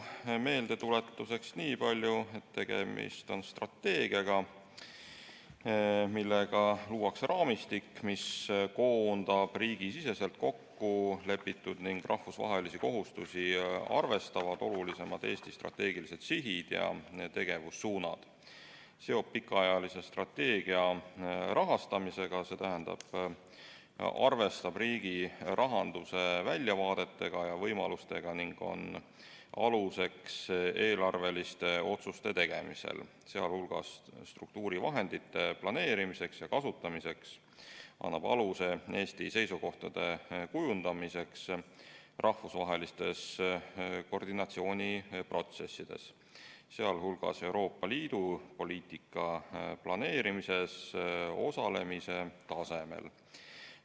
Meeldetuletuseks ütlen niipalju, et tegemist on strateegiaga, millega luuakse raamistik, mis koondab endasse riigisiseselt kokku lepitud ning rahvusvahelisi kohustusi arvestavad Eesti olulisimad strateegilised sihid ja tegevussuunad, seob pikaajalise strateegia rahastamisega, st arvestab riigi rahanduse väljavaateid ja võimalusi, on aluseks eelarveliste otsuste tegemisel, sh struktuurivahendite planeerimisel ja kasutamisel, ning annab aluse Eesti seisukohtade kujundamiseks rahvusvahelistes koordinatsiooniprotsessides, sh Euroopa Liidu poliitika planeerimises osalemise tasemel.